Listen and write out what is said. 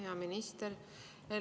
Hea minister!